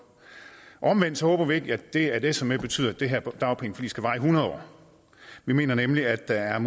omvendt håber vi ikke at det at s er med betyder at det her dagpengeforlig skal vare i hundred år vi mener nemlig at der er